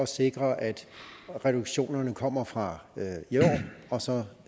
sikrer at reduktionerne kommer fra i år og så